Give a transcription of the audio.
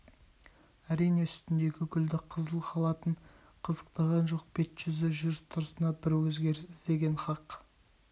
әрине үстіндегі гүлді қызыл халатын қызықтаған жоқ бет-жүзі жүріс-тұрысынан бір өзгеріс іздеген хақ